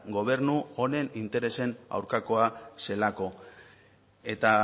gobernu honen interesen aurkakoa zelako eta